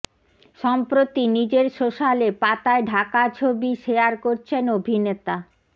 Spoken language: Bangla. সম্প্রতি নিজের সোশ্যালে পাতায় ঢাকা ছবি শেয়ার করেছেন অভিনেতা